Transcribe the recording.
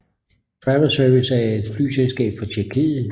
Travel Service er et flyselskab fra Tjekkiet